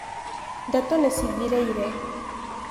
Ndeto nĩcithireire.